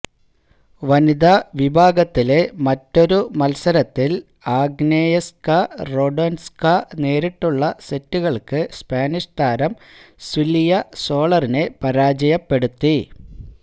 വനിതാ വിഭാഗത്തിലെ മറ്റൊരു മത്സരത്തില് ആഗ്നയേസ്ക റാഡ്വാന്സ്ക നേരിട്ടുള്ള സെറ്റുകള്ക്ക് സ്പാനിഷ് താരം സില്വിയ സോളറിനെ പരാജയപ്പെടുത്തി